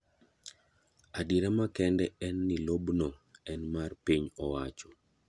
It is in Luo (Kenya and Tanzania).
Adiera makende en ni lob no en mar Piny owacho.